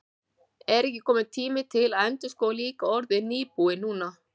Er ekki kominn tíminn til að endurskoða líka orðið nýbúi núna?